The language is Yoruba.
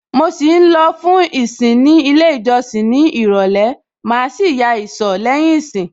Mo ṣì ń lọ lọ fún ìsìn ní ilé ìjọsìn ní ìrọ̀lẹ́, màá sì ya ìsọ̀ lẹ́yìn ìsìn.